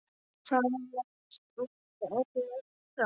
Þar með voru örlög ráðin.